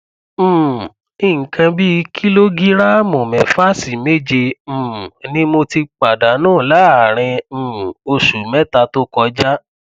um nǹkan bí kìlógíráàmù mẹfà sí méje um ni mo ti pàdánù láàárín um oṣù mẹta tó kọjá